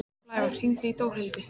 Blævar, hringdu í Dórhildi.